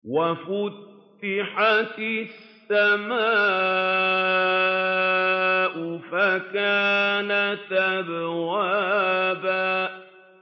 وَفُتِحَتِ السَّمَاءُ فَكَانَتْ أَبْوَابًا